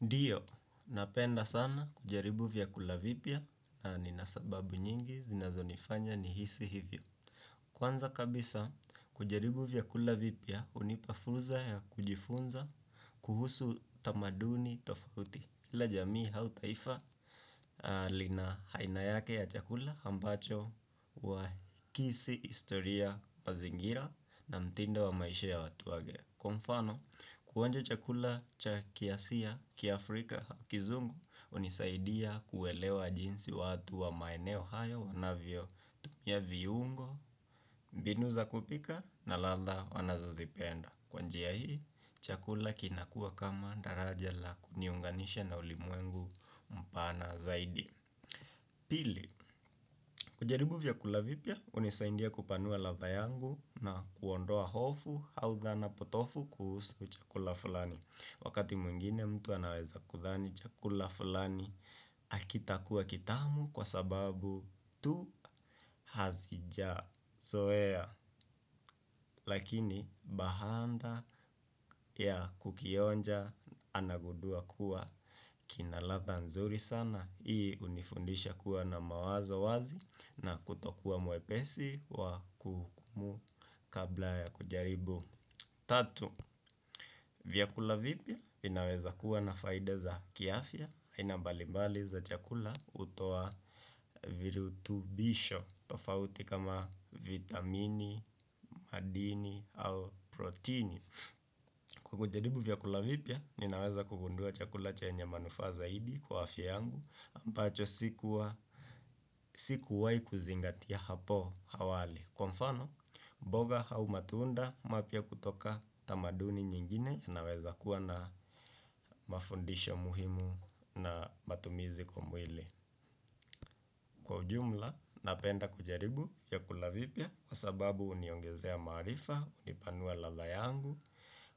Ndiyo, napenda sana kujaribu vyakula vipya na nina sababu nyingi zinazonifanya nihisi hivyo. Kwanza kabisa, kujaribu vyakula vipya, unipa furza ya kujifunza kuhusu tamaduni tofauti. Kila jamii au taifa lina haina yake ya chakula ambacho huwakisi istoria mazingira na mtindo wa maisha ya watu wage. Kwa mfano, kuonja chakula cha kiasia, kiafrika, kizungu, unisaidia kuelewa jinsi watu wa maeneo hayo wanavyotumia viungo, mbinu za kupika na ladha wanazozipenda. Kwa njia hii, chakula kinakua kama daraja la kuniunganisha na ulimwengu mpana zaidi. Pili, kujaribu vyakula vipya, unisaindia kupanua ladha yangu na kuondoa hofu, hau thana, potofu kuhusu chakula fulani. Wakati mwingine mtu anaweza kudhani, chakula fulani akitakuwa kitamu kwa sababu tu hazija. Soea, lakini bahanda ya kukionja anagudua kuwa kinaladha nzuri sana. Hii unifundisha kuwa na mawazo wazi na kutokuwa mwepesi wa kuhukumu kabla ya kujaribu. Tatu, vyakula vipya vinaweza kuwa na faida za kiafya. Haina mbalimbali za chakula utoa virutubisho tofauti kama vitamini, madini, au protini. Kwa kujaribu vyakula vipya, ninaweza kugundua chakula chenye manufaa zaidi kwa afya yangu ambacho sikuwa, sikuwai kuzingatia hapo hawali. Kwa mfano, mboga hau matunda mapya kutoka tamaduni nyingine yanaweza kuwa na mafundisho muhimu na matumizi kwa mwili. Kwa ujumla, napenda kujaribu vyakula vipya kwa sababu uniongezea maarifa, unipanua ladha yangu,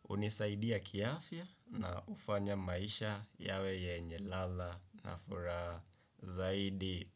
unisaidia kiafya na ufanya maisha yawe yenye ladha na furaha zaidi.